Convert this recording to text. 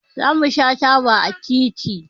Zamu sha taba a titi